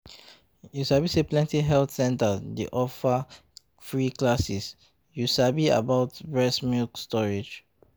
you sabi say plenty health centers dey offer free classes you sabi about breast milk storage